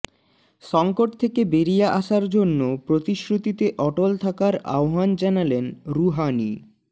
সংকট থেকে বেরিয়ে আসার জন্য প্রতিশ্রুতিতে অটল থাকার আহ্বান জানালেন রুহানি